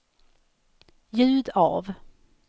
ljud av